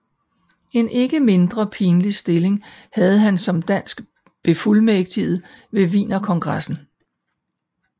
En ikke mindre pinlig stilling havde han som dansk befuldmægtiget ved Wienerkongressen